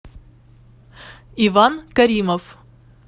иван каримов